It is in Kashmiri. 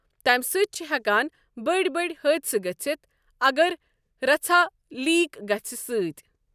تمہِ سۭتۍ چھ ہٮ۪کان بٔڑۍ بٔڑۍ حٲدثہٕ گٔژھِتھ اگر رَژھا لیٖک گژھنہٕ سۭتۍ۔